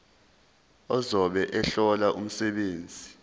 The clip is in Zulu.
ozobe ehlola umsebenzi